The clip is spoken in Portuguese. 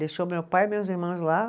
Deixou meu pai e meus irmãos lá.